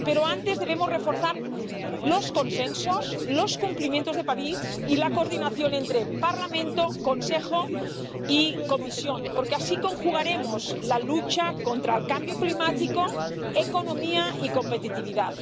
Pero antes debemos reforzar los consensos, los cumplimientos de París y la coordinación entre Parlamento, Consejo y Comisión, porque así conjugaremos lucha contra el cambio climático, economía y competitividad.